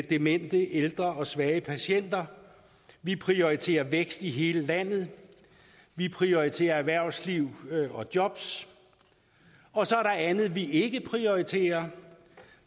demente ældre og svage patienter vi prioriterer vækst i hele landet vi prioriterer erhvervsliv og jobs og så er der andet vi ikke prioriterer